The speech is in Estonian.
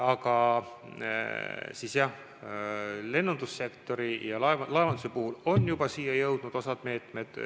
Aga jah, lennundussektori ja laevanduse puhul on osa meetmeid juba siia jõudnud.